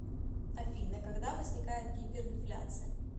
афина когда возникает гиперинфляция